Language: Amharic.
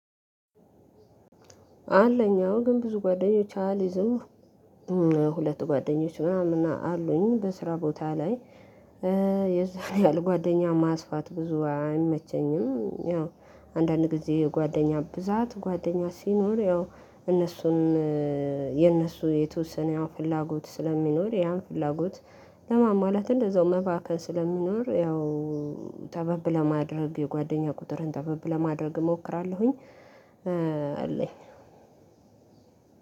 አለኝ አሁን ግን ብዙ ጓደኞች አልይዝም። ሁለቱ ጓደኞች ምናምን አሉኝ በስራ ቦታ ላይ እእ የዛን ያህል ጓደኛ ማስፋት ብዙ አይመቸኝም። ያው አንዳንድ ጊዜ ጓደኛ ብዛት ጓደኛ ሲኖር ያው እነሱን እእ የነሱ የተወሰነ ያው ፍላጎት ስለሚኖር ያን ፍላጎት ለማን ማለት እንደዛው መባከን ስለሚኖር ያው ጠበብ ለማድረግ ጓደኛ ቁጥርን ጠበብ ለማድረግ እሞክራለሁኝ። እእ